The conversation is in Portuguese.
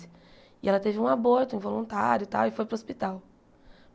E ela teve um aborto, involuntário e tal, e foi para o hospital.